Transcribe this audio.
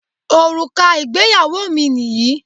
Òrùka ìgbéyàwó mi nìyí